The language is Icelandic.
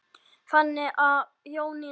Þannig var Jónína.